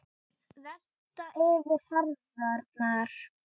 Velta yfir herðarnar.